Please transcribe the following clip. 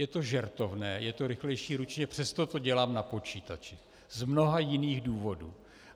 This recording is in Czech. Je to žertovné - je to rychlejší ručně, přesto to dělám na počítači, z mnoha jiných důvodů.